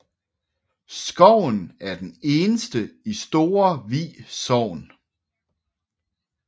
Skoven er den eneste i Store Vi Sogn